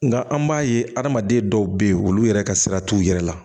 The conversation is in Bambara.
Nka an b'a ye adamaden dɔw bɛ yen olu yɛrɛ ka sira t'u yɛrɛ la